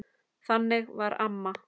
Þannig var amma.